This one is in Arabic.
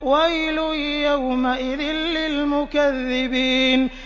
وَيْلٌ يَوْمَئِذٍ لِّلْمُكَذِّبِينَ